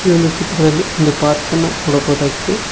ಈ ಒಂದು ಚಿತ್ರದಲ್ಲಿ ಒಂದು ಪಾರ್ಕ್ ಅನ್ನ ನೋಡಬಹುದಾಗಿದೆ.